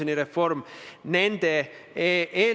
Annely Akkermann, palun!